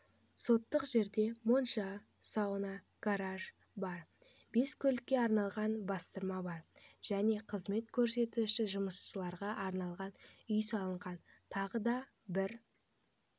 соттық жерде монша сауна гараж бар бес көлікке арналған бастырма бар және қызмет көрсетуші жұмысшыларға арналған үй салынған тағы да бір